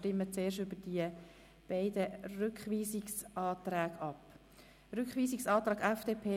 Wir stimmen zuerst über die beiden Rückweisungsanträge ab.